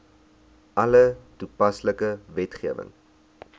alle toepaslike wetgewing